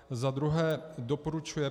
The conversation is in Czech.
Za druhé doporučuje